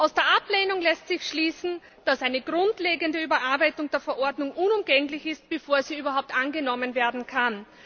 Aus der Ablehnung lässt sich schließen, dass eine grundlegende Überarbeitung der Verordnung unumgänglich ist, bevor sie überhaupt angenommen werden kann.